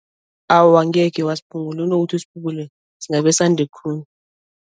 Awa angeke wasiphungula, kunokuthi usiphungule singabe sande khulu.